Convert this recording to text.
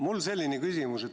Mul on selline küsimus.